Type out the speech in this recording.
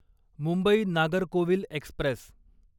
Mumbai Nagercoil Express